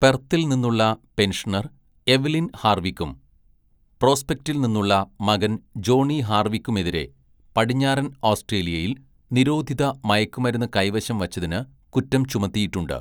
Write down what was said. പെർത്തിൽ നിന്നുള്ള pensioner Evelyn ഹാര്‍വിക്കും പ്രോസ്പെക്‌റ്റിൽ നിന്നുള്ള മകൻ ജോണി ഹാര്‍വിക്കുമെതിരെ പടിഞ്ഞാറൻ ഓസ്‌ട്രേലിയയിൽ നിരോധിത മയക്കുമരുന്ന് കൈവശം വച്ചതിന് കുറ്റം ചുമത്തിയിട്ടുണ്ട്.